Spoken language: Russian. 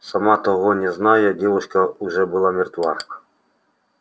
сама того не зная девушка уже была мертва